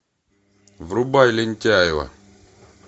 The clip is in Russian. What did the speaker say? врубай лентяево